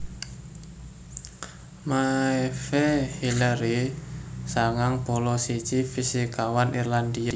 Maeve Hillery sangang puluh siji fisikawan Irlandia